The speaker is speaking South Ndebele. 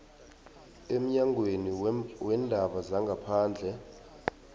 emnyangweni weendaba zangaphandle